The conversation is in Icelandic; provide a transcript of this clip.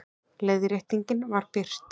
Leiðréttingin var birt